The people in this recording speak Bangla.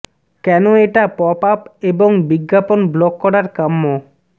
কেন এটা পপ আপ এবং বিজ্ঞাপন ব্লক করার কাম্য